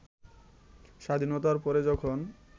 স্বাধীনতার পরে যখন